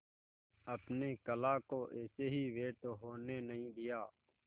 अपने कला को ऐसे ही व्यर्थ होने नहीं दिया